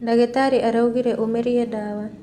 Ndagitarĩ araugire ũmerie ndawa.